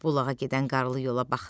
Bulağa gedən qarlı yola baxdı.